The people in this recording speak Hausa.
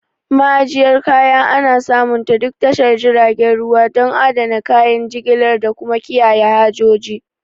Ma'ajiyyar kaya ana samunta duk tashar jiragen ruwa, don adana kayan jigilar da kuma kiyaye hajoji.